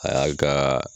A y'a kaa